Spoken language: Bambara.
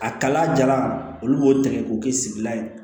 A kala jala olu b'o tigɛ k'o kɛ sigilan ye